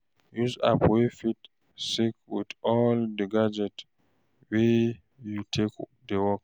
Use app wey fit sync with all di gadgets wey you take dey work